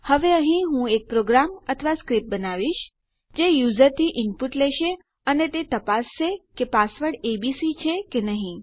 હવે અહીં હું એક પ્રોગ્રામ અથવા સ્ક્રીપ્ટ બનાવીશ જે યુઝરથી ઇનપુટ લેશે અને તે તપાસશે કે પાસવર્ડ એબીસી છે કે નહી